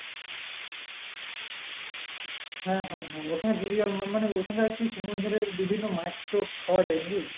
হ্যাঁ হ্যাঁ হ্যাঁ ওখানে জীবিকা মানে ওখানে সমুদ্রের বিভিন্ন মাছ তো পাওয়া যায় নাকি?